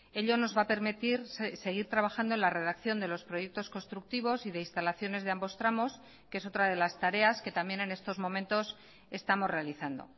ello nos va a permitir seguir trabajando en la redacción de los proyectos constructivos y de instalaciones de ambos tramos que es otra de las tareas que también en estos momentos estamos realizando